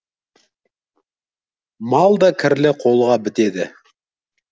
мал да кірлі қолға бітеді